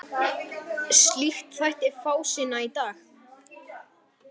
Slíkt þætti fásinna í dag.